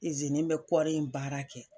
bɛ kɔɔri in baara kɛ.